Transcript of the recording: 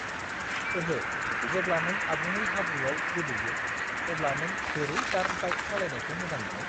ओहो। जेब्ला नों आबुङै हाब्रुआव गोदोयो, अब्ला नों बोरै डार्ट बाइक सालायनायखौ मोजां मोनो?